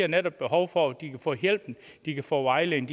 netop behov for at de kan få hjælpen at de kan få vejledning